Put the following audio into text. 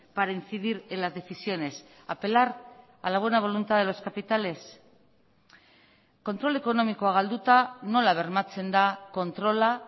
para incidir en las decisiones apelar a la buena voluntad de los capitales kontrol ekonomikoa galduta nola bermatzen da kontrola